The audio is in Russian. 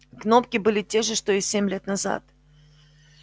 кнопки были те же что и семь лет назад